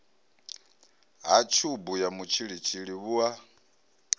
ha tshubu ya mutshilitshili vhua